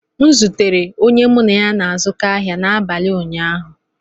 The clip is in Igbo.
M zutere onye mụ na ya na-azụkọ ahịa n'abalị ụnyaahụ